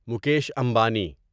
Mukesh Ambani